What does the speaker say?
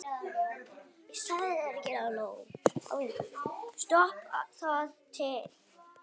Stóð það til?